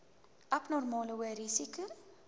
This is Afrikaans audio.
abnormale hoë risiko